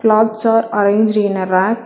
Cloths are arranged in a rack.